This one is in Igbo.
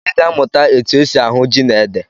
Anyị ga-amụta etu e si ahụ ji na ede